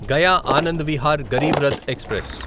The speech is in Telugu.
గయా ఆనంద్ విహార్ గరీబ్ రథ్ ఎక్స్ప్రెస్